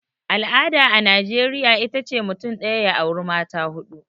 al'ada a najeriya ita ce mutum daya ya auri mata hudu